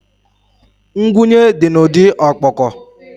Ngwunye dị n'ụdị ọkpọkọ